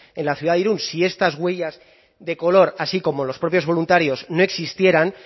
en la ciudad de irun si estas huellas de color así como los propios voluntarios no existieran